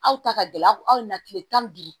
Aw ta ka gɛlɛn aw na kile tan ni duuru